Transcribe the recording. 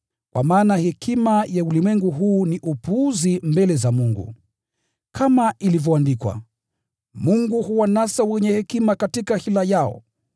Kwa maana hekima ya ulimwengu huu ni upuzi mbele za Mungu. Kama ilivyoandikwa: “Mungu huwanasa wenye hekima katika hila yao,”